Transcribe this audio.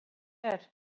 Og nú erum við hér.